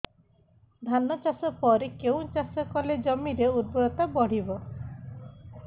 ଧାନ ଚାଷ ପରେ କେଉଁ ଚାଷ କଲେ ଜମିର ଉର୍ବରତା ବଢିବ